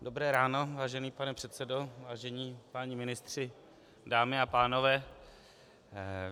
Dobré ráno, vážený pane předsedo, vážení páni ministři, dámy a pánové.